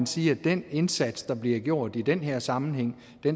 sige at den indsats der bliver gjort i den her sammenhæng